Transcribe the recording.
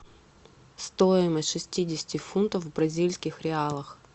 стоимость шестидесяти фунтов в бразильских реалах